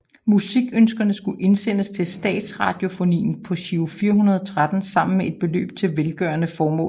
Musikønskerne skulle indsendes til Statsradiofonien på Giro 413 sammen med et beløb til velgørende formål